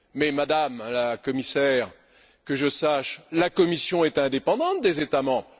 Mais, Madame la Commissaire, que je sache, la Commission est indépendante des États membres.